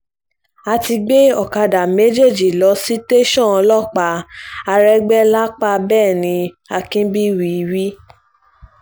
a ti gbé ọ̀kadà méjèèjì lọ sí tẹ̀sán ọlọ́pàá àrégbè lápàá bẹ́ẹ̀ ni akínbíyì wí